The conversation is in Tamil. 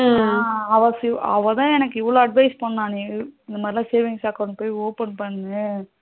அவளுக்கு அவதான் எனக்கு இவ்வளவு advice பண்ணா நீ முதல்ல savings account போய் open பண்ணு